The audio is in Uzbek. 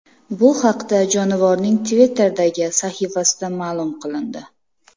Bu haqda jonivorning Twitter’dagi sahifasida ma’lum qilindi.